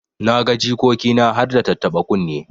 Na ga jikoki na harda tattaba kunne.